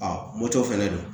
moto fɛnɛ don